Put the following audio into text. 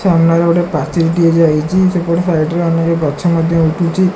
ସାମ୍ନାରେ ଗୋଟେ ପାଚେରି ଟିଏ ଯାଇଛି ସେପଟ ସାଇଡ ରେ ଅନେକ ଗଛ ମଧ୍ୟ ଯାଇଛି।